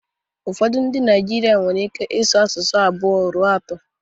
Ụfọdụ ndị Naijiria nwere ike ịsụ asụsụ abụọ ruo atọ